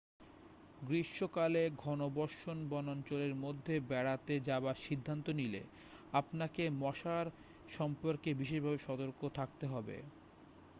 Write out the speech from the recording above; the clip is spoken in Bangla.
গ্রীষ্মকালে ঘনবর্ষণ বনাঞ্চলের মধ্যে বেড়াতে যাবার সিদ্ধান্ত নিলে আপনাকে মশার সম্পর্কে বিশেষভাবে সতর্ক থাকতে হবে